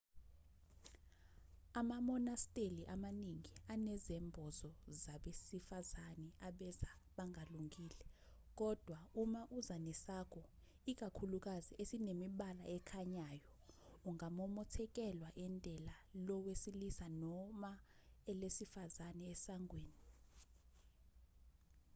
amamonasteli amaningi anezembozo zabesifazane abeza bangalungile kodwa uma uza nesakho ikakhulukazi esinemibala ekhanyayo ungamomothekelwa indela lowesilisa noma elesifazane esangeweni